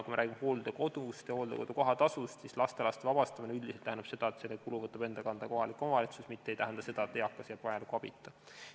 Kui me räägime hooldekodust ja hooldekodu kohatasust, siis lastelaste vabastamine üldiselt tähendab seda, et selle kulu võtab enda kanda kohalik omavalitsus, mitte ei tähenda seda, et eakas jääb vajaliku abita.